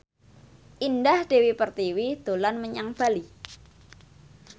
Indah Dewi Pertiwi dolan menyang Bali